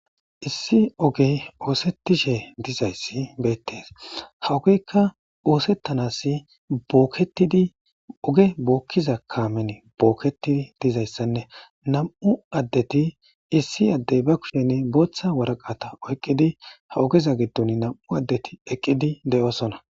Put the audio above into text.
Issi ogey oosettishe dizayssi beettes hawogeykka oosettanasi boketidi oge bookkiza kaamen bookketidi dizayssanne nam7u addeti issi addey ba kusheni booththa waraqata oyqqidi ha ogeza giddon nam7u addeti eqqidi de7osona